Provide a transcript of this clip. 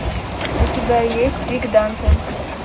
у тебя есть пик данте